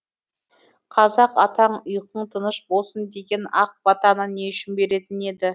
қазақ атаң ұйқың тыныш болсын деген ақ батаны не үшін беретін еді